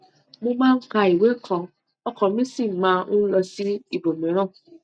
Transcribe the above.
mo máa ń ka ìwé kan ọkàn mi sì máa ń lọ sí ibòmíràn